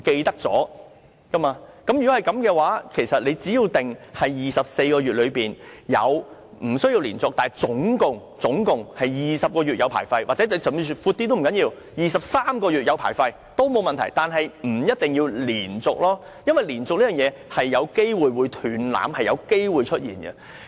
如果是這樣，其實只要訂明在24個月之內，無須連續但合共要有20個月領有牌照，甚至訂闊一些也不打緊 ，23 個月領有牌照也沒有問題，但不一定要連續，因為連續這件事有機會"斷纜"，是有機會出現的。